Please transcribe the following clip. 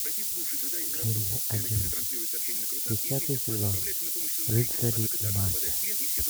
серия одиннадцать десятый сезон рыцари и магия